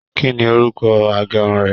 Kínní orúkọ agérun rẹ?